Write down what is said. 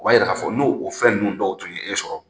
O b'a yira k'a fɔ n'o o fɛn ninnu dɔw tun ye e sɔrɔ